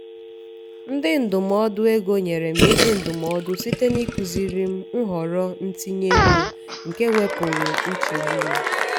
onye ndụmọdụ ego nyere m ezi ndụmọdụ site n’ịkụziri m nhọrọ ntinye ego nke wepụrụ nchegbu m.